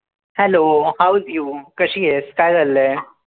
Hello, hows you? कशी आहेस? काय चाललंय?